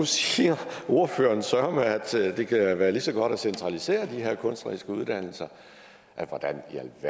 siger ordføreren søreme at det kan være lige så godt at centralisere de her kunstneriske uddannelser hvordan i